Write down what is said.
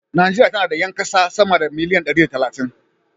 Najeriya tana da 'yan kasa sama da miliyan dari da talatin.